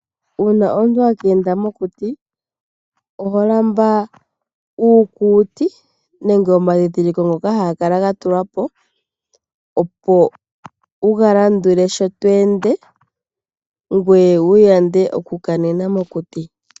Uuna omuntu aka enda mokuti, oha lamba uukuti, nenge omadhindhiliko, ngoka ha ga kala ga tulwapo, wu ga landule, sho tweende ngoye wu yande oku kanena mokuti.